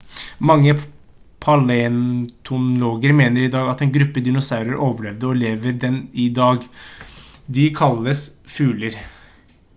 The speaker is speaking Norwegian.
mange paleontologer mener i dag at én gruppe dinosaurer overlevde og lever den dag i dag de kalles fugler